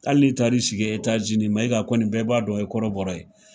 Hali ni taar'i sigi Etats Unis, Mayiga kɔni bɛɛ b'a dɔn o ye kɔrɔbɔrɔ ye.